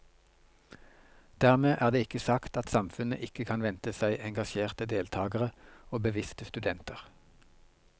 Dermed er det ikke sagt at samfunnet ikke kan vente seg engasjerte deltagere og bevisste studenter.